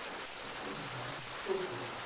একদম মারাত্মক player